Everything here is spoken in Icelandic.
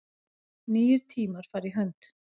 Nýir tímar fara í hönd